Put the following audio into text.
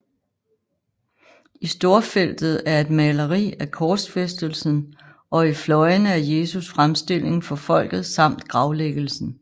I storfeltet er et maleri af Korsfæstelsen og i fløjene af Jesu fremstilling for Folket samt Gravlæggelsen